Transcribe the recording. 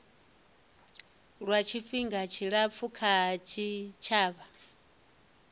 lwa tshifhinga tshilapfu kha tshitshavha